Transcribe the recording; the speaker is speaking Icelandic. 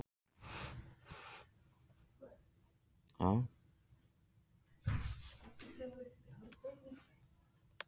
Það þýðir ekkert að hanga hérna lengur.